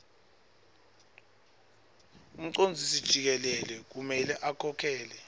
umcondzisijikelele kumele akhokhele